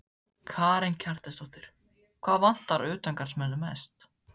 Karen Kjartansdóttir: Hvað vantar utangarðsmenn mest?